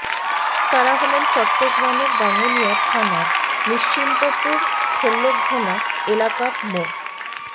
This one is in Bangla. তারা হলেন চট্টগ্রামের রাঙ্গুনিয়া থানার নিশ্চিন্তপুর ঠেল্যাঘোনা এলাকার মো